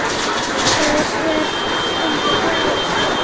Það er ég hins vegar.